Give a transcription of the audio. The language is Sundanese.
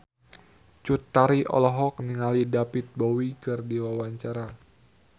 Cut Tari olohok ningali David Bowie keur diwawancara